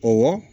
Ɔwɔ